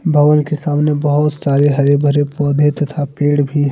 bowl के सामने बहुत सारे हर भरे पौधे तथा पेड़ भी--